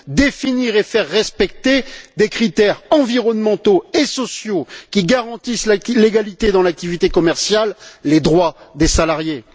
définir et faire respecter des critères environnementaux et sociaux qui garantissent l'égalité dans l'activité commerciale et les droits des salariés.